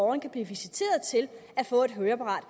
man kan blive visiteret til at få et høreapparat